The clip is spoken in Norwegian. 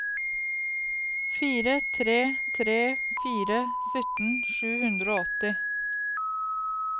fire tre tre fire sytten sju hundre og åtti